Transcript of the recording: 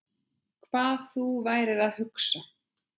Hvað þú værir að hugsa.